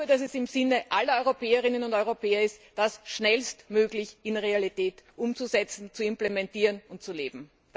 Ich glaube, dass es im Sinne aller Europäerinnen und Europäer ist, das schnellstmöglich in die Realität umzusetzen, zu implementieren und zu leben.